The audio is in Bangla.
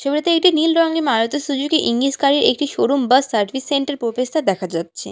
ছবিতে এইটি নীল রংয়ের মারুতি সুজুকি ইজিনিস গাড়ির একটি শোরুম বা সার্ভিস সেন্টার প্রবেশদ্বার দেখা যাচ্ছে।